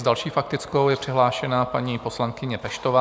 S další faktickou je přihlášená paní poslankyně Peštová.